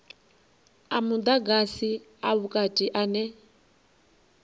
a mudagasi a vhukati ane